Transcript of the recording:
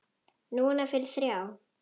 Núna fyrir þrjá.